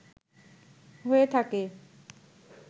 হয়ে থাকে